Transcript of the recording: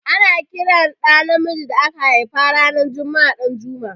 Ana ƙiran ɗa namijin da aka haifa ran juma'a Danjuma.